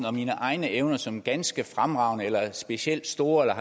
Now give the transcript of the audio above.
og mine egne evner som ganske fremragende eller specielt store eller